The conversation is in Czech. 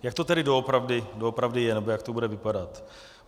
Jak to tedy doopravdy je nebo jak to bude vypadat?